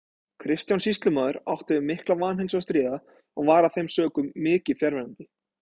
Kristján sýslumaður átti við mikla vanheilsu að stríða og var af þeim sökum mikið fjarverandi.